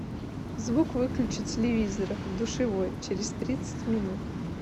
звук выключи телевизора в душевой через тридцать минут